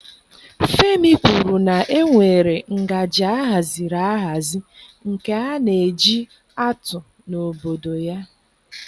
Femi kwuru na e nwere ngaji ahaziri ahazi nke a na-eji atụ n'obodo ya